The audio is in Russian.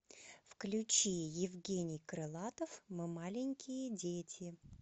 включи евгений крылатов мы маленькие дети